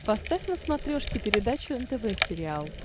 поставь на смотрешке передачу нтв сериал